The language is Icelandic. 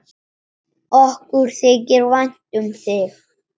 Okkur þykir vænt um þig.